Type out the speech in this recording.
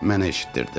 Mənə eşitdirdi.